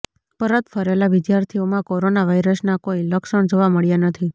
પરત ફરેલા વિદ્યાર્થીઓમાં કોરોના વાયરસનાકોઇ લક્ષણ જોવા મળ્યા નથી